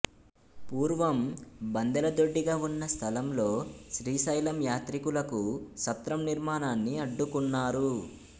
పూర్వం బందెలదొడ్డిగా ఉన్న స్థలంలో శ్రీశైలం యాత్రికులకు సత్రం నిర్మాణాన్ని అడ్డుకున్నారు